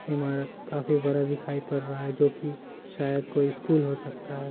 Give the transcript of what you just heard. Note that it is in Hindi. ईमारत काफी बड़ा दिखाई पड़ रहा है जोकि शायद कोई स्कूल हो सकता है।